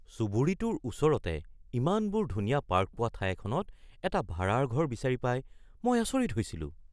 চুবুৰীটোৰ ওচৰতে ইমানবোৰ ধুনীয়া পাৰ্ক পোৱা ঠাই এখনত এটা ভাড়াৰ ঘৰ বিচাৰি পাই মই আচৰিত হৈছিলোঁ।